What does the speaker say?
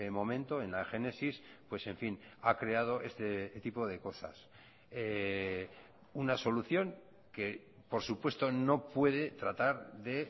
momento en la génesis pues en fin ha creado este tipo de cosas una solución que por supuesto no puede tratar de